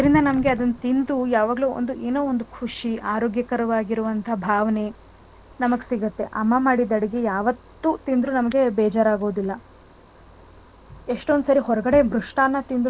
ಇರುತ್ತೆ ಅದ್ರಿಂದ ಅದನ್ ತಿಂದುಯಾವಾಗ್ಲೂ ಒಂದ್ ಏನೋ ಒಂದು ಖುಷಿ ಆರೋಗ್ಯಕರವಾಗಿರುವ ಭಾವನೇ ನಮಗ್ಸಿಗುತ್ತೆ. ಅಮ್ಮ ಮಾಡಿದ್ ಅಡ್ಗೆ ಯಾವತ್ ತಿಂದ್ರು ಬೇಜಾರ್ ಆಗೋದಿಲ್ಲ . ಎಷ್ಟೊಂದುಸಾರಿ ಹೊರ್ಗಡೆ ಮ್ರುಷ್ಟಾನ್ನ,